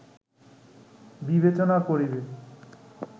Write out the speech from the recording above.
বিবেচনা করিবে